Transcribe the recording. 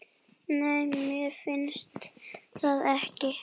Nei, mér finnst það ekki.